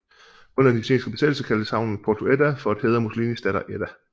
Under den italienske besættelse kaldtes havnen Porto Edda for at hædre Mussolinis datter Edda